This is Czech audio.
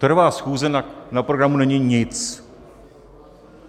Trvá schůze, na programu není nic.